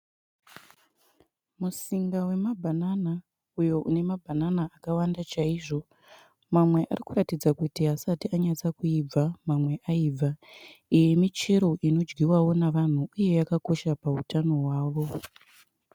Musinga wemabhanana uyo une mabhanana akawanda chaizvo. Mamwe arikutaridza kuti haasati anatsoibva mamwe aibva. Iyi imichero inodyiwawo nevanhu uye yakakosha pahutano hwavo.